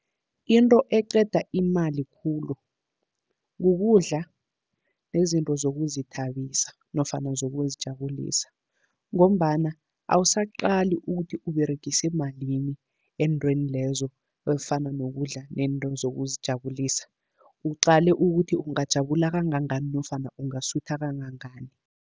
Into eqeda imali khulu, kukudla nezinto zokuzithabisa nofana zokuzijabulisa, ngombana awusaqali ukuthi uberegise malini ezintweni lezo ezifana nokudla nento zokuzijabulisa. Uqale ukuthi ungajabula kangangani nofana ungasutha kangangani.